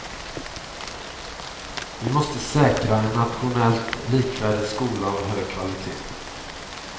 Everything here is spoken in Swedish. Vi måste säkra en nationellt likvärdig skola av hög kvalitet.